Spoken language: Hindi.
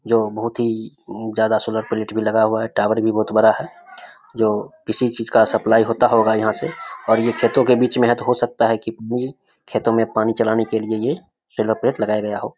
जो बहुत ही उम ज्यादा सोलर प्लेट भी लगा हुआ है टावर भी बहुत बड़ा है जो किसी चीज का सप्लाई होता होगा यहाँ से और ये खेतों के बीच में है तो हो सकता है की ये खेतों में पानी चलाने के लिए ये सोलर प्लेट लगाया गया हो।